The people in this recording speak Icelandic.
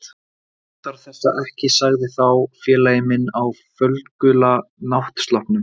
Hún þarf þessa ekki sagði þá félagi minn á fölgula náttsloppnum.